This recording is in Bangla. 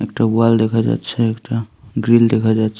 একটা ওয়াল দেখা যাচ্ছে একটা গ্রিল দেখা যাচ --